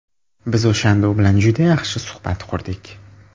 Biz o‘shanda u bilan juda yaxshi suhbat qurdik.